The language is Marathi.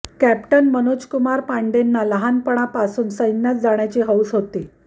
कॅप्टन मनोज कुमार पांडेंना लहानपणापासून सैन्यात जाण्याची हौस होती